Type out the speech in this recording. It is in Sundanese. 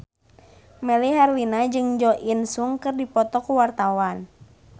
Melly Herlina jeung Jo In Sung keur dipoto ku wartawan